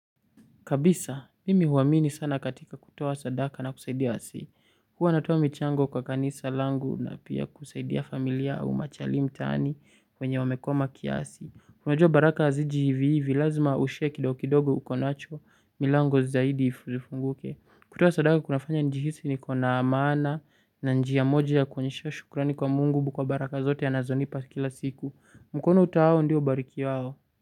Kabisa, mimi huamini sana katika kutoa sadaka na kusaidia wasee. Huwa natuwa michango kwa kanisa langu na pia kusaidia familia au machali mtaani kwenye wamekwama kiasi. Unajua baraka haziji hivivi, lazima ushare kidokidogo uko nacho, milango zaidi ifunguke. Kutoa sadaka kunafanya njihisi nikona maana na njia moja ya kuonyesha shukurani kwa mungu kwa baraka zote anazonipa kila siku. Mkono utoao ndio bariki wao.